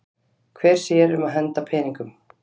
Hver sér um að henda peningum?